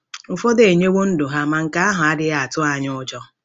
Ụfọdụ enyewo ndụ ha, ma nke ahụ adịghị atụ anyị ụjọ.